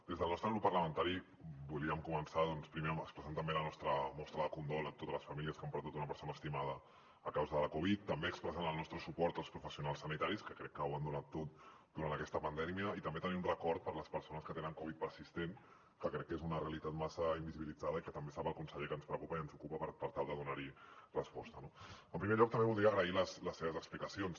des del nostre grup parlamentari volíem començar doncs primer expressant també la nostra mostra de condol a totes les famílies que han perdut una persona estimada a causa de la covid també expressant el nostre suport als professionals sanitaris que crec que ho han donat tot durant aquesta pandèmia i també tenint un record per les persones que tenen covid persistent que crec que és una realitat massa invisibilitzada i que també sap el conseller que ens preocupa i ens ocupa per tal de donar hi resposta no en primer lloc també voldria agrair les seves explicacions